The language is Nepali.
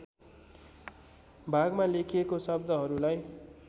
भागमा लेखिएको शब्दहरूलाई